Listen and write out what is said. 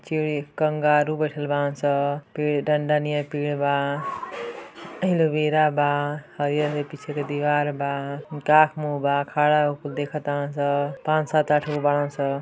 चीड़ी kangaroo बइठल बारन सं फिर डंडा नीयर पीर बा एलोवेरा बा हरियर-हरियर पीछे दीवार बा। आंख मुह बा खडा होके देखता तरन सन पञ्च साथ अठ गो बारन सन।